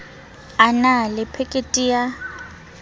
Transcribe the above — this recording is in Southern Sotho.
a na le phekiti ya